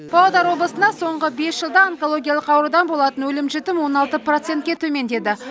павлодар облысында соңғы бес жылда онкологиялық аурудан болатын өлім жітім он алты процентке төмендеді